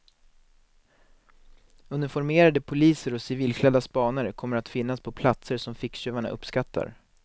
Uniformerade poliser och civilklädda spanare kommer att finnas på platser som ficktjuvarna uppskattar.